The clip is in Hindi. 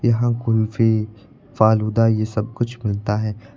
यहां कुल्फी फालूदा ये सब कुछ मिलता है।